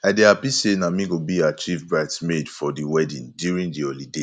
i dey happy say na me go be her chief brides maid for the wedding during the holiday